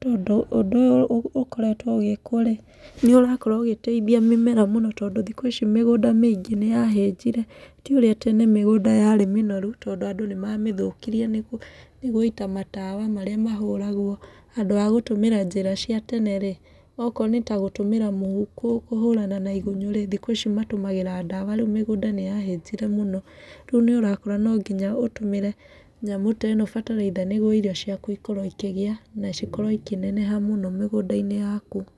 Tondũ ũndũ ũyũ ũkoretwo ũgĩkwo rĩ, nĩ ũrakorwo ũgĩteithia mĩmera mũno tondũ thikũ ici mĩgũnda mĩingĩ nĩ yahĩnjire. Ti ũrĩa tene mĩgũnda yarĩ mĩnoru, tondũ andũ nĩ mamĩthũkirie nĩ nĩ gũita matawa marĩa mahũragwo. Handũ wa gũtũmĩra njĩra cia tene rĩ, okorwo nĩ ta gũtũmĩra mũhu kũhũrana na igunyũ rĩ, thikũ ici matũmagĩra ndawa, rĩu mĩgũnda nĩ yahĩnjire mũno. Rĩu nĩ ũrakora no nginya ũtũmĩre nyamũ ta ĩno bataraitha nĩguo irio ciaku ikorwo ĩkĩgĩa na cikorwo ikĩneneha mũno mĩgũnda-inĩ yaku.